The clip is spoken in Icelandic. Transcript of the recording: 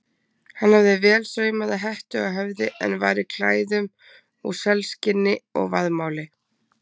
Hann hafði vel saumaða hettu á höfði en var í klæðum úr selskinni og vaðmáli.